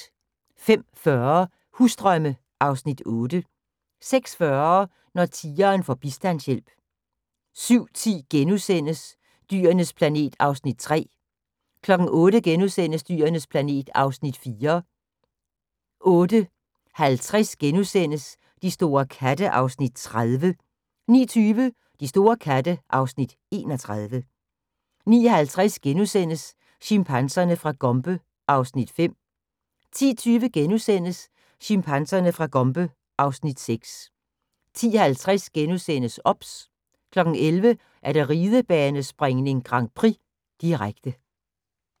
05:40: Husdrømme (Afs. 8) 06:40: Når tigeren får bistandshjælp 07:10: Dyrenes planet (Afs. 3)* 08:00: Dyrenes planet (Afs. 4)* 08:50: De store katte (Afs. 30)* 09:20: De store katte (Afs. 31) 09:50: Chimpanserne fra Gombe (Afs. 5)* 10:20: Chimpanserne fra Gombe (Afs. 6)* 10:50: OBS * 11:00: Ridebanespringning: Grand Prix, direkte